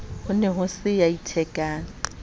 ne ho se ya ithekang